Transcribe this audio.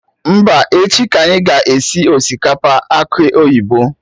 Mba, echi ka anyị ga esi osikapa akụ oyibo